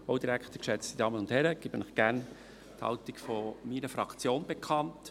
Ich gebe Ihnen gern die Haltung meiner Fraktion bekannt.